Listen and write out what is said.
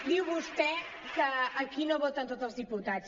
diu vostè que aquí no voten tots els diputats